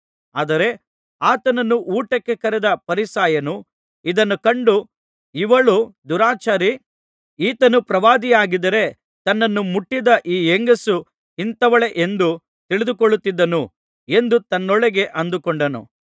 ಆದರೆ ಆತನನ್ನು ಊಟಕ್ಕೆ ಕರೆದ ಫರಿಸಾಯನು ಇದನ್ನು ಕಂಡು ಇವಳು ದುರಾಚಾರಿ ಈತನು ಪ್ರವಾದಿಯಾಗಿದ್ದರೆ ತನ್ನನ್ನು ಮುಟ್ಟಿದ ಈ ಹೆಂಗಸು ಇಂಥವಳೆಂದು ತಿಳಿದುಕೊಳ್ಳುತ್ತಿದ್ದನು ಎಂದು ತನ್ನೊಳಗೇ ಅಂದುಕೊಂಡನು